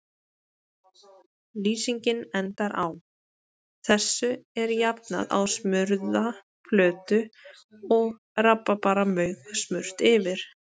Lýsingin endar á: Þessu er jafnað á smurða plötu og rabarbaramauk smurt yfir.